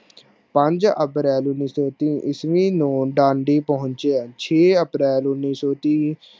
ਪੰਜ april ਉਣੀ ਸੋ ਤੀਹ ਈਸਵੀ ਨੂੰ ਪਾਂਡੀ ਪਹੁੰਚੇ ਛੇ april ਉਣੀ ਸੋ ਤੀਹ